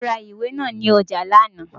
Ó ra ìwé náà ní ọjà lánàá.